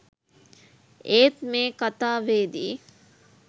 ඒත් මේ කතාවේදී